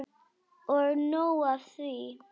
Og nóg er af því.